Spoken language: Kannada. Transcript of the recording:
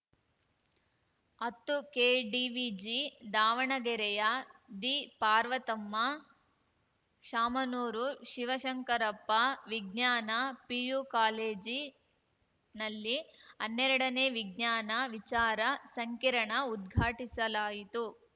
ಹತ್ತುಕೆಡಿವಿಜಿ ದಾವಣಗೆರೆಯ ದಿಪಾರ್ವತಮ್ಮ ಶಾಮನೂರು ಶಿವಶಂಕರಪ್ಪ ವಿಜ್ಞಾನ ಪಿಯು ಕಾಲೇಜಿನಲ್ಲಿ ಹನ್ನೆರಡನೇ ವಿಜ್ಞಾನ ವಿಚಾರ ಸಂಕಿರಣ ಉದ್ಘಾಟಿಸಲಾಯಿತು